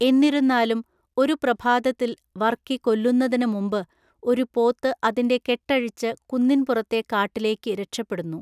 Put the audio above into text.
എന്നിരുന്നാലും, ഒരു പ്രഭാതത്തിൽ, വർക്കി കൊല്ലുന്നതിന് മുമ്പ്, ഒരു പോത്ത് അതിന്‍റെ കെട്ടഴിച്ച് കുന്നിന്‍പുറത്തെ കാട്ടിലേക്ക് രക്ഷപ്പെടുന്നു.